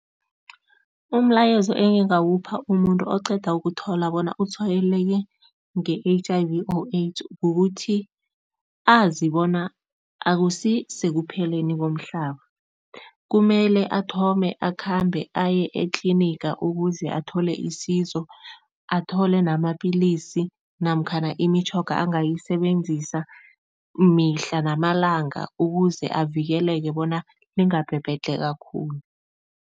Umlayezo engingawupha umuntu oqeda ukuthola bona utshwayeleke nge-H_I_V or AIDS kukuthi azi bona akusisekupheleni komhlaba. Kumele athome akhambe aye etliniga ukuze athole isizo, athole namapilisi namkhana imitjhoga angayisebenzisa mihla namalanga ukuze avikeleke bona lingabhebhedlheka khulu.